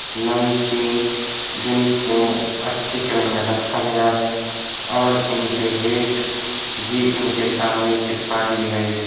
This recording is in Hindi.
नमकीन जिनको अच्छे क्रम में रखा गया है और इनके रेट भी इनके सामने चिपका दिए गए है।